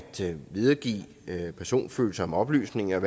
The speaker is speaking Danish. videregive personfølsomme oplysninger